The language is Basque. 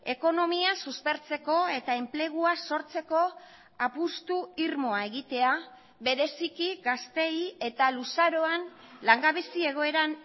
ekonomia suspertzeko eta enplegua sortzeko apustu irmoa egitea bereziki gazteei eta luzaroan langabezi egoeran